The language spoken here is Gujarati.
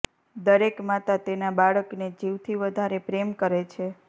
દરેક માતા તેના બાળક ને જીવથી વધારે પ્રેમ કરે છે